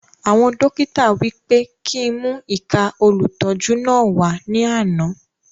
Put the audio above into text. Àgba dókítà wí pé kí n mú ìka olùtọ́jú náà wà ní àna